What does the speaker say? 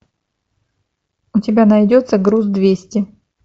у тебя найдется груз двести